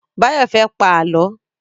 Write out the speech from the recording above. Báyọ̀ fẹ́ pá Àlọ́.